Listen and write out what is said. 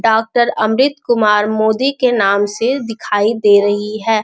Doctor Amit Kumar Modi के नाम से दिखाई दे रही है।